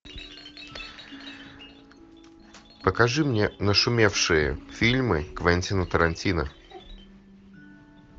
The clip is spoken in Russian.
покажи мне нашумевшие фильмы квентина тарантино